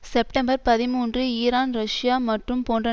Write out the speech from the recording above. September பதிமூன்று Iran Russia மற்றும் போன்ற